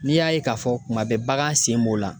N'i y'a ye k'a fɔ kuma bɛɛ bagan sen b'o la.